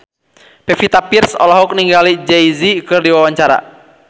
Pevita Pearce olohok ningali Jay Z keur diwawancara